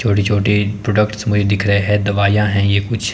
छोटी छोटी प्रोडक्ट्स में दिख रहे है दवाईयां हैं ये कुछ--